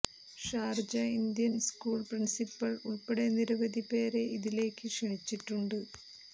Sharjah Indian school principal ഉൾപ്പെടെ നിരവധി പേരെ ഇതിലേക്ക് ക്ഷണി ച്ചിട്ടു ണ്ട്